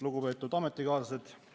Lugupeetud ametikaaslased!